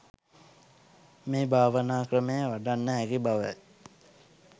මේ භාවනා ක්‍රමය වඩන්න හැකි බවයි.